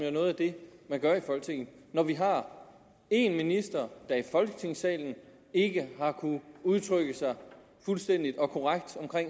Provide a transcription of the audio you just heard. er noget af det man gør i folketinget når vi har en minister der i folketingssalen ikke har kunnet udtrykke sig fuldstændig og korrekt om